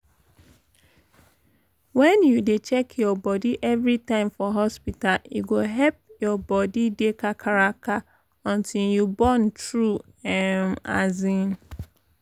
wen you dey check your bodi every time for hospital e go epp your body dey kakaraka until you born tru emm as in